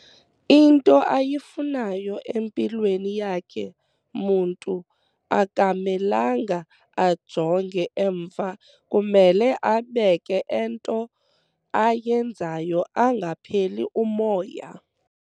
Into ayifunayo empilweni yakhe muntu aka melanga a jonge emva kumele abeke ento ayenzayo angapheli umoya